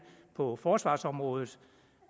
på forsvarsområdet